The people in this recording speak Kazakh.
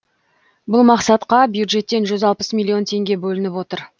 бұл мақсатқа бюджеттен жүз алпыс миллион теңге бөлініп отыр